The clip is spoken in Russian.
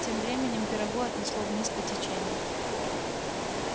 тем временем пирогу отнесло вниз по течению